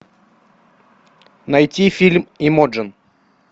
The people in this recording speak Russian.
найти фильм имоджен